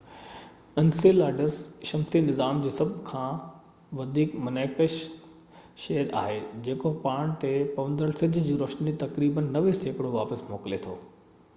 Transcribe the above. Enceladus شمسي نظام ۾ سڀ کان وڌيڪ منعڪس شي آهي جيڪو پاڻ تي پوندڙ سج جي روشني جو تقريبن 90 سيڪڙو واپس موڪلي ٿو